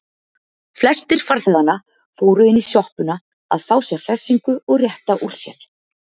Flestir farþeganna fóru inní sjoppuna að fá sér hressingu og rétta úr sér.